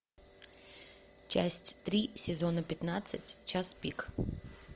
часть три сезона пятнадцать час пик